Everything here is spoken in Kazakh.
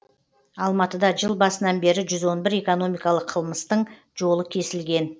алматыда жыл басынан бері жүз он бір экономикалық қылмыстың жолы кесілген